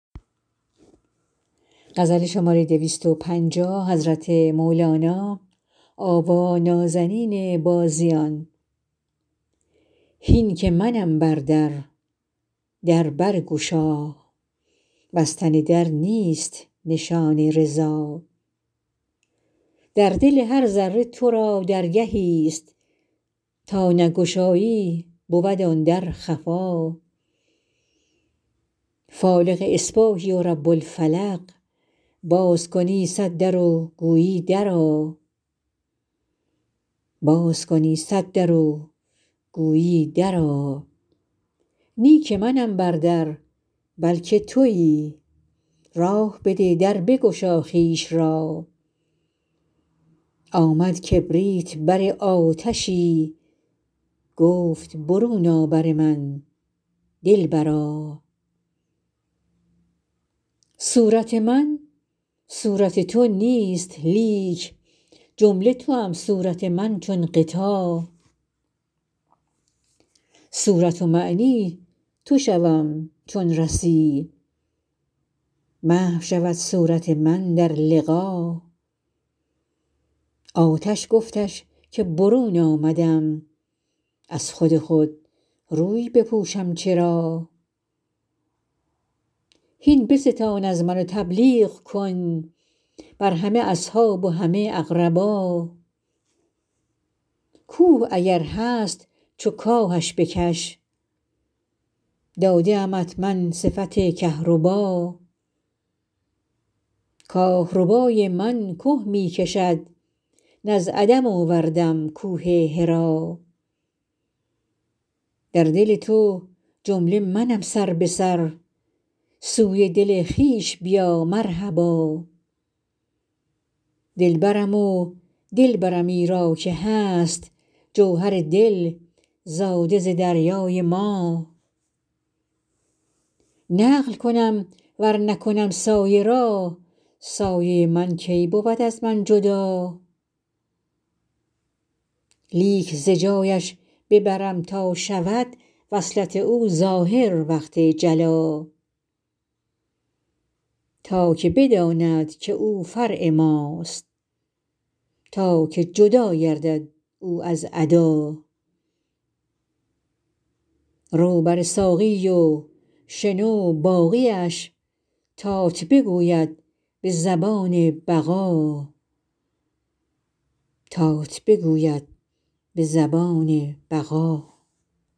هین که منم بر در در برگشا بستن در نیست نشان رضا در دل هر ذره تو را درگهیست تا نگشایی بود آن در خفا فالق اصباحی و رب الفلق باز کنی صد در و گویی درآ نی که منم بر در بلک توی راه بده در بگشا خویش را آمد کبریت بر آتشی گفت برون آ بر من دلبرا صورت من صورت تو نیست لیک جمله توام صورت من چون غطا صورت و معنی تو شوم چون رسی محو شود صورت من در لقا آتش گفتش که برون آمدم از خود خود روی بپوشم چرا هین بستان از من تبلیغ کن بر همه اصحاب و همه اقربا کوه اگر هست چو کاهش بکش داده امت من صفت کهربا کاه ربای من که می کشد نه از عدم آوردم کوه حرا در دل تو جمله منم سر به سر سوی دل خویش بیا مرحبا دلبرم و دل برم ایرا که هست جوهر دل زاده ز دریای ما نقل کنم ور نکنم سایه را سایه من کی بود از من جدا لیک ز جایش ببرم تا شود وصلت او ظاهر وقت جلا تا که بداند که او فرع ماست تا که جدا گردد او از عدا رو بر ساقی و شنو باقیش تات بگوید به زبان بقا